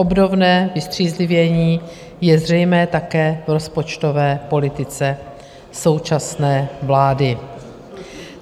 Obdobné vystřízlivění je zřejmé také v rozpočtové politice současné vlády.